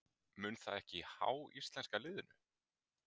Mun það ekki há íslenska liðinu?